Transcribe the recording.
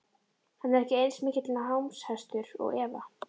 Hann er ekki eins mikill námshestur og Eva.